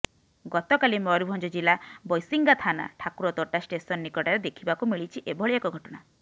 ଗତକାଲି ମୟୂରଭଞ୍ଜ ଜିଲ୍ଲା ବୈଶିଙ୍ଗା ଥାନା ଠାକୁରତୋଟା ଷ୍ଟେସନ ନିକଟରେ ଦେଖିବାକୁ ମିଳିଛି ଏଭଳି ଏକ ଘଟଣା